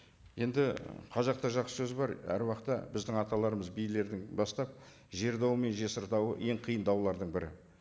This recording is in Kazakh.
енді қазақта жақсы сөз бар әр уақытта біздің аталарымыз билерден бастап жер дауы мен жесір дауы ең қиын даулардың бірі